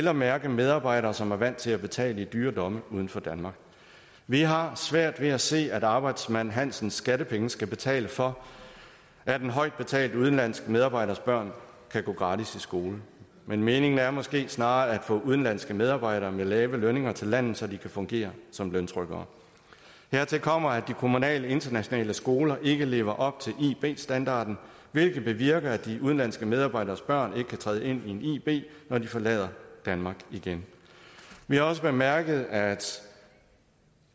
at mærke medarbejdere som er vant til at betale i dyre domme uden for danmark vi har svært ved at se at arbejdsmand hansens skattepenge skal betale for at en højt betalt udenlandsk medarbejders børn kan gå gratis i skole men meningen er måske snarere at få udenlandske medarbejdere med lave lønninger til landet så de kan fungere som løntrykkere hertil kommer at de kommunale internationale skoler ikke lever op til ib standarden hvilket bevirker at de udenlandske medarbejderes børn ikke kan træde ind i en ib når de forlader danmark igen vi har også bemærket at